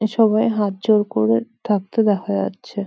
এ সবাই হাত জোড় করে থাকতে দেখা যাচ্ছে।